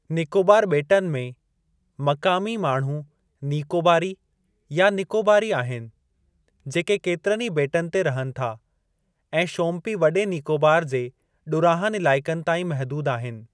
नीकोबार ॿेटनि में, मक़ामी माण्हू नीकोबारी, या निकोबारी आहिनि, जेके केतिरनि ई ॿेटनि ते रहनि था, ऐं शोमपीं वॾे नीकोबार जे ॾुरांहनि इलाइक़नि ताईं महदूद आहिनि।